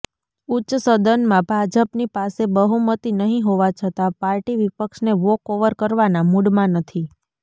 ઉચ્ચ સદનમાં ભાજપની પાસે બહુમતી નહી હોવા છતા પાર્ટી વિપક્ષને વોક ઓવર કરવાનાં મુડમાં નથી